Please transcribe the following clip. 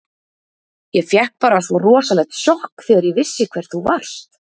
Ég fékk bara svo rosalegt sjokk þegar ég vissi hver þú varst.